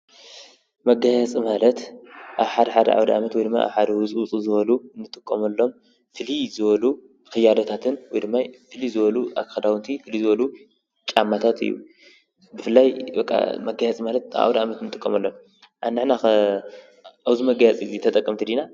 መጋየፂ ማለት ኣብ ሓደ ሓደ ኣውደ ዓመት ወይ ድማ ኣብ ሓደ ሓደ ውፅእ ውፅእ ዝበሉ ንጥቀመሎም ፍልይ ዝበሉ ክያዶታትን ወይ ድማ ፍልይ ዝበሉ ክዳውንት፣ ፍልይ ዝበሉ ጫማታትን እዮም፡፡ ብፍላይ በቃ መጋየፂ ማለት ኣብ ኣውደ ዓመት ንጥቀመሎም እዮም፡፡ ኣንሕና ኸ ኣብዚ መጋየፂ እዚ ተጠቀምቲ ዲና?